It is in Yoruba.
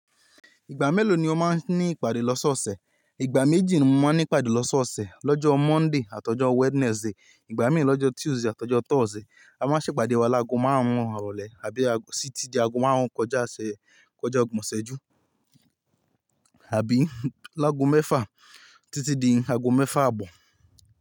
Ìgbà mélòó ni o máa ń ní ìpàdé lọ́sọ́ọ̀ọ̀sẹ̀? Ìgbà méjì ni mo máa ń ní ìpàdé lọ́sọ́ọ̀ọ̀sẹ̀. Lọ́jọ́ Monday àtọjọ́ Wednesday. Ìgbà mí ì lọ́jọ́ Tuesday àtọjọ́ Thursday. A máa ń ṣèpàdé wa láàgò márùn-ún irọ̀lẹ́ àbí sí títí di àgọ́ márùn-ún kọjá isẹ̀, Kona ogbòn ìsẹ̀ ju àbí láàgò mẹ́fà títí di àgọ́ mẹ́fà àbọ̀.